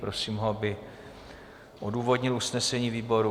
Prosím ho, aby odůvodnil usnesení výboru.